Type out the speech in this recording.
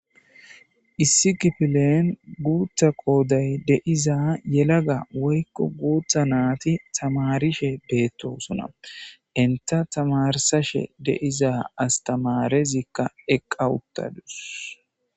Issi kipilen guutha qooday deiza yelaga woykko guutha naati tamarishe deettosona inta tamarsashe deiza astamarezikka eqqa uttadus